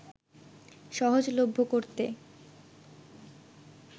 সহজলভ্য করতে